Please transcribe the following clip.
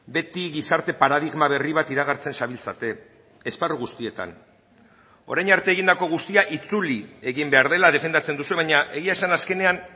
beti gizarte paradigma berri bat iragartzen zabiltzate esparru guztietan orain arte egindako guztia itzuli egin behar dela defendatzen duzue baina egia esan azkenean